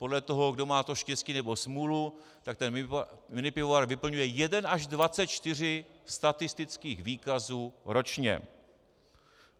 Podle toho, kdo má to štěstí nebo smůlu, tak ten minipivovar vyplňuje jeden až 24 statistických výkazů ročně.